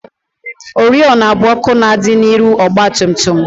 Oriọna bụ ọkụ na-adị n'ihu ọgbatumtum